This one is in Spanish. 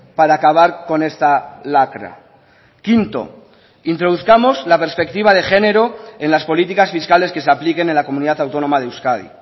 para acabar con esta lacra quinto introduzcamos la perspectiva de género en las políticas fiscales que se apliquen en la comunidad autónoma de euskadi